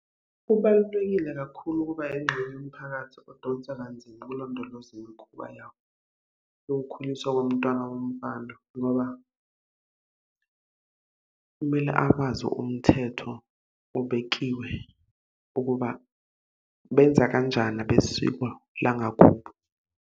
Kubalulekile kakhulu ukuba yingxenye yomphakathi odonsa kanzima ukulondoloze imikhuba yakho yokukhuliswa komntwana womfana, ngoba kumele akwazi umthetho obekiwe ukuba benza kanjani abesiko langakubo.